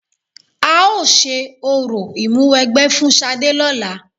A ó ṣe orò ìmúwẹgbẹ́ fún Ṣadé lọ́la.